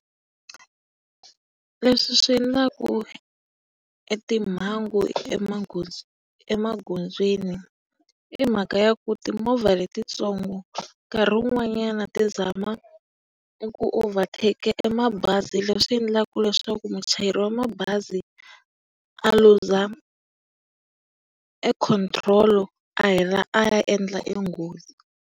Leswi swi endlaka e timhangu emagondzweni i mhaka ya ku timovha letitsongo nkarhi wun'wanyana ti zama eku overtake e mabazi leswi endlaka leswaku muchayeri wa mabazi a luza e control a hela a ya endla e nghozi.